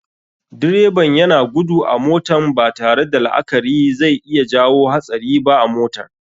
Direban yana gudu a motan, batare da la akari zai iya jawo hatsari ba a motar.